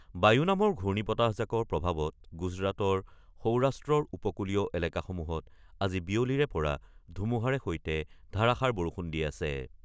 বায়ু নামৰ ঘূৰ্ণীৰ্বতাহজাকৰ প্ৰভাৱত গুজৰাটৰ সৌৰাষ্ট্ৰৰ উপকুলীয় এলেকাসমূহত আজি বিয়লিৰে পৰা ধুমুহাৰ সৈতে ধাৰাষাৰ বৰষুণ দি আছে।